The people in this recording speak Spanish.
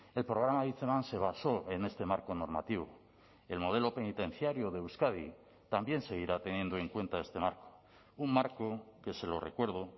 el programa hitzeman se basó en este marco normativo el modelo penitenciario de euskadi también seguirá teniendo en cuenta este marco un marco que se lo recuerdo